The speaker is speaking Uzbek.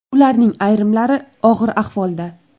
Ularning ayrimlari og‘ir ahvolda.